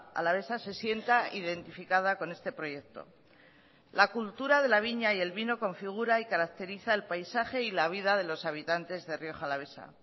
alavesa se sienta identificada con este proyecto la cultura de la viña y el vino configura y caracteriza el paisaje y la vida de los habitantes de rioja alavesa